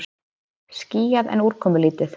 Skýjað en úrkomulítið